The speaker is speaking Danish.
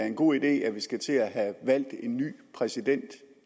er en god idé at vi skal til at have valgt en ny præsident i